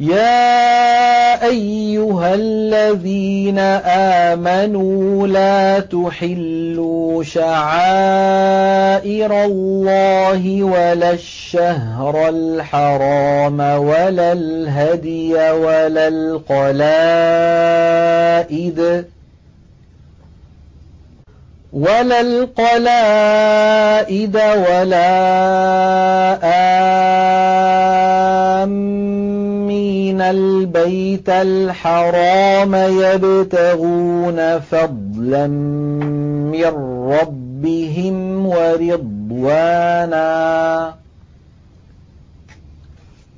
يَا أَيُّهَا الَّذِينَ آمَنُوا لَا تُحِلُّوا شَعَائِرَ اللَّهِ وَلَا الشَّهْرَ الْحَرَامَ وَلَا الْهَدْيَ وَلَا الْقَلَائِدَ وَلَا آمِّينَ الْبَيْتَ الْحَرَامَ يَبْتَغُونَ فَضْلًا مِّن رَّبِّهِمْ وَرِضْوَانًا ۚ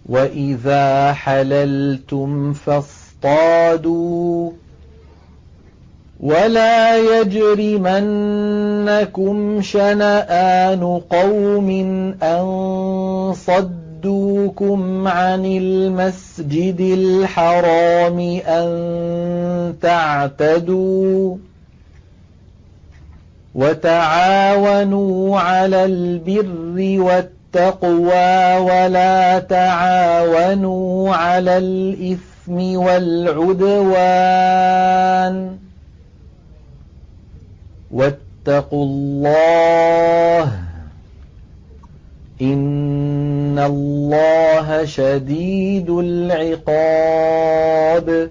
وَإِذَا حَلَلْتُمْ فَاصْطَادُوا ۚ وَلَا يَجْرِمَنَّكُمْ شَنَآنُ قَوْمٍ أَن صَدُّوكُمْ عَنِ الْمَسْجِدِ الْحَرَامِ أَن تَعْتَدُوا ۘ وَتَعَاوَنُوا عَلَى الْبِرِّ وَالتَّقْوَىٰ ۖ وَلَا تَعَاوَنُوا عَلَى الْإِثْمِ وَالْعُدْوَانِ ۚ وَاتَّقُوا اللَّهَ ۖ إِنَّ اللَّهَ شَدِيدُ الْعِقَابِ